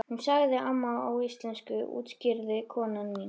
Hún sagði amma á íslensku útskýrði kona mín.